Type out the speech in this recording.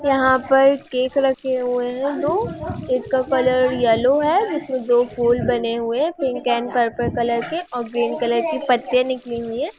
यहां पर केक रखे हुए है दो एक का कलर येलो है जिसमें दो फूल बने हुए पिंक एंड पर्पल कलर के और ग्रीन कलर की पत्तियां निकली हुई हैं।